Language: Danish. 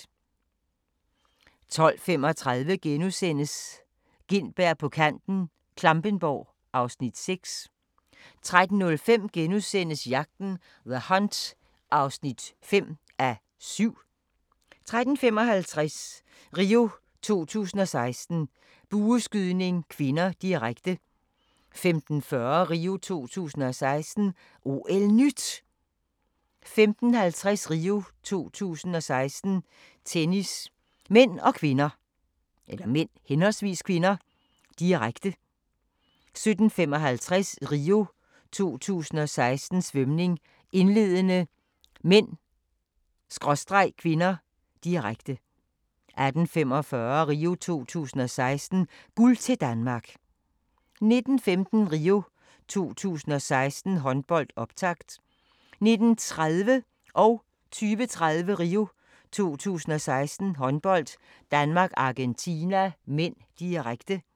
12:35: Gintberg på kanten - Klampenborg (Afs. 6)* 13:05: Jagten – The Hunt (5:7)* 13:55: RIO 2016: Bueskydning (k), direkte 15:40: RIO 2016: OL-NYT 15:50: RIO 2016: Tennis (m/k), direkte 17:55: RIO 2016: Svømning, indledende (m/k), direkte 18:45: RIO 2016: Guld til Danmark 19:15: RIO 2016: Håndbold, optakt 19:30: RIO 2016: Håndbold - Danmark-Argentina (m), direkte 20:30: RIO 2016: Håndbold - Danmark-Argentina (m), direkte